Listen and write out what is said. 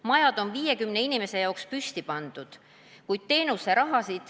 Majad on 50 inimese jaoks püsti pandud.